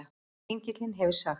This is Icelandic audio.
Engillinn hefur sagt